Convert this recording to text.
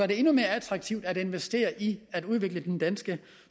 det endnu mere attraktivt at investere i at udvikle den danske